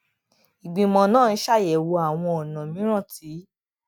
ìgbìmò náà ń ṣàyèwò àwọn ònà mìíràn tí